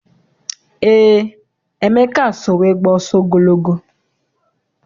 Eé, Emeka so wee gbaa ọsọ ogologo.